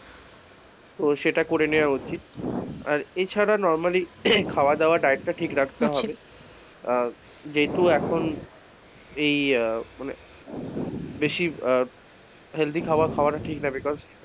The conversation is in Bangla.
ও সেটা করে নেওয়া উচিত আর এছাড়া normally খাওয়া-দাওয়া ডায়েটটা ঠিক রাখতে হবে আহ যেহেতু এখন এই আহ মানে বেশি healthy খাবার ঠিক নয়।